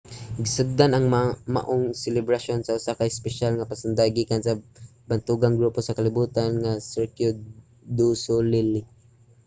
gisugdan ang maong selebrasyon sa usa ka espesyal nga pasundayag gikan sa bantugang grupo sa kalibutan nga cirque du soleil